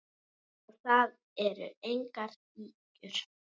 Og það eru engar ýkjur.